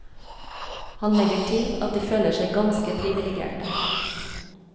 Han legger til at de føler seg ganske privilegerte.